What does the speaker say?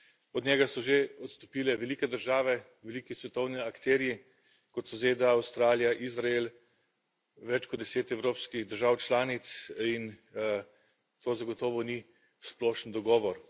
Od njega so že odstopile velike države, veliki svetovni akterji, kot so ZDA, Avstralija, Izrael, več kot deset evropskih držav članic, in to zagotovo ni splošen dogovor.